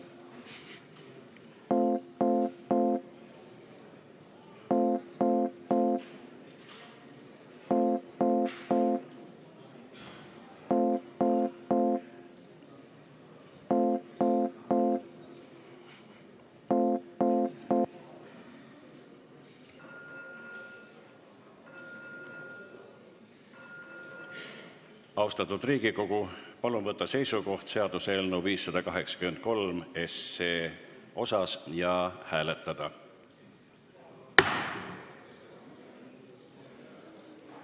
Austatud Riigikogu, palun võtta seisukoht seaduseelnõu 583 osas ja hääletada!